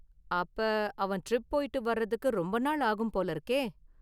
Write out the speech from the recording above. அப்ப அவன் ட்ரிப் போயிட்டு வரதுக்கு ரொம்ப நாள் ஆகும் போல இருக்கே.